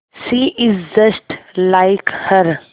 she is just like her